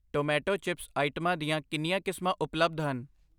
Tomato chips ਆਈਟਮਾਂ ਦੀਆਂ ਕਿੰਨੀਆਂ ਕਿਸਮਾਂ ਉਪਲੱਬਧ ਹਨ?